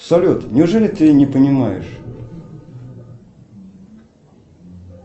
салют неужели ты не понимаешь